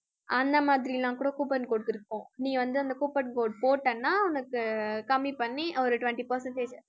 அந்த மாதிரிலாம் கூட coupon codes இருக்கும் நீ வந்து அந்த coupon code போட்டேன்னா உனக்கு ஆஹ் கம்மி பண்ணி ஒரு twenty percentage